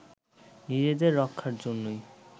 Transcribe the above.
নিজেদের রক্ষার জন্যই